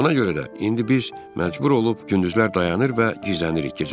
Buna görə də indi biz məcbur olub gündüzlər dayanır və gizlənirik.